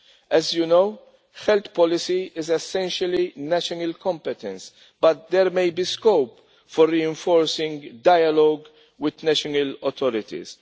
As you know, health policy is essentially a national competence but there may be scope for reinforcing dialogue with national authorities.